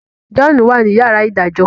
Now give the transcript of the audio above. John wá ní yàrá idajọ.